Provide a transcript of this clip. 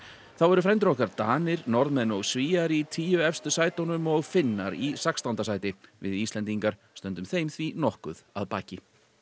þá eru frændur okkar Danir Norðmenn og Svíar í tíu efstu sætunum og Finnar í sextánda sæti við Íslendingar stöndum þeim því nokkuð að baki